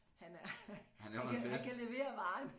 Han er han kan han kan levere varen